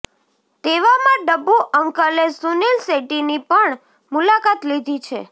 તેવામાં ડબ્બૂ અંકલે સુનિલ શેટ્ટીની પણ મુલાકાત લીધી છે